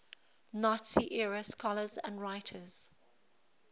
nazi era scholars and writers